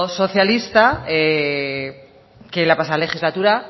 socialista que la pasada legislatura